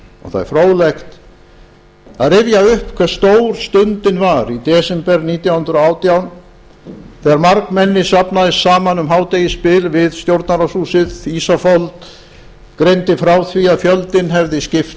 það er fróðlegt að rifja upp hve stór stundin var í desember nítján hundruð og átján þegar margmenni safnaðist saman um hádegisbil við stjórnarráðshúsið ísafold greindi frá því að fjöldinn hefði skipt